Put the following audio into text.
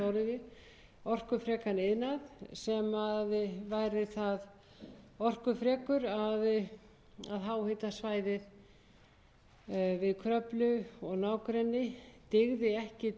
stóriðju orkufrekan iðnað sem væri það orkufrekur að háhitasvæðið við kröflu og nágrenni dygði ekki til stóriðjunnar þannig að það þyrfti að líta